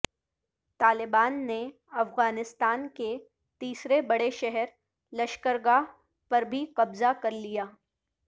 طالبان نے افغانستان کے تیسرے بڑے شہر لشکرگاہ پر بھی قبضہ کرلیا